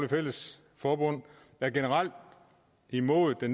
fælles forbund er generelt imod